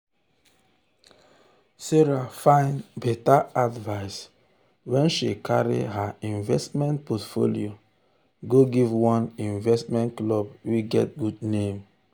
sarah find better advice when she carry her investment portfolio go give one investment club wey get good name.